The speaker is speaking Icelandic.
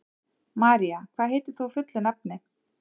María, hvað heitir þú fullu nafni?